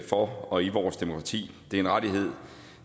for og i vores demokrati det er en rettighed